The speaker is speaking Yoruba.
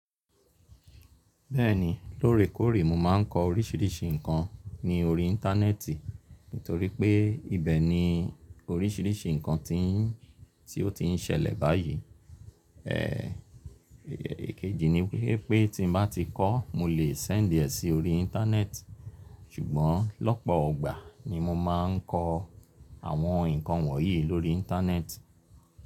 Bẹ́ẹ̀ni, lórekóòrè mo máa ń kọ oríṣiríṣi ǹkan ní orí Íńtánẹ́ẹ̀tì, nítorí pé ibẹ̀ ni oríṣiríṣi ǹkan tí ń, tí ó ti ń ṣẹlẹ̀ báyìí. E, èkejì ni wípé tí mo bá ti kọ́, mo lè sẹ́ńdì ẹ̀ sí orí Íńtánẹ́ẹ̀tì, ṣùgbọ́n lọ́pọ̀ ọgbà ni mo máa ń kọ àwọn ǹkan wọ̀nyí lórí Íńtánẹ́ẹ̀tì.